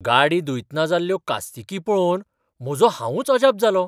गाडी धुयतना जाल्ल्यो कास्तिकी पळोवन म्हजो हांवूंच अजाप जालों.